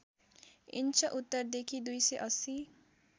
inch उत्तरदेखि २८०